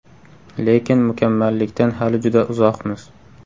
Lekin mukammallikdan hali juda uzoqmiz.